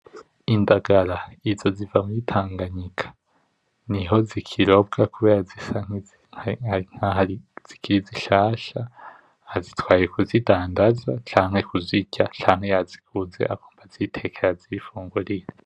Indagara izo ziva muri Tanganyika, niho zikirobwa kubera zisa nkaho ari zikiri zishasha, azitwaye kuzidandaza, canke kuzirya ,canke yaziguze agomba azitekere azifungurire.